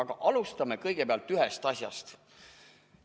Aga alustame kõigepealt ühest asjast.